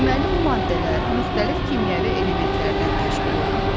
Deməli, bu maddələr müxtəlif kimyəvi elementlərdən təşkil olunub.